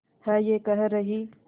है ये कह रही